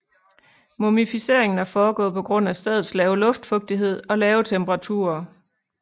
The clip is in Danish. Mumificeringen er foregået på grund af stedets lave luftfugtighed og lave temperaturer